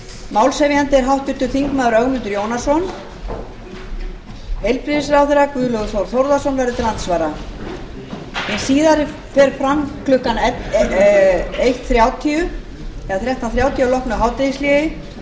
málshefjandi er háttvirtur þingmaður ögmundur jónasson heilbrigðisráðherra guðlaugur þór þórðarson verður til andsvara hin síðari fer fram klukkan þrettán þrjátíu að loknu hádegishléi